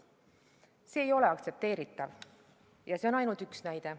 See ei ole aktsepteeritav, ja see on ainult üks näide.